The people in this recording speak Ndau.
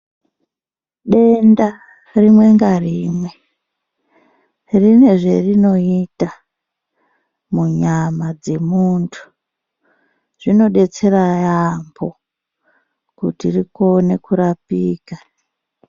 Denda rimwe ngarimwe rine zverinoita munyama dzemuntu zvinobetsera yaambo kuti rikone kurapika.